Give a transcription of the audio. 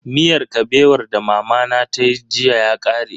Miyar Kabewar da mamana tayi jiya ya kare.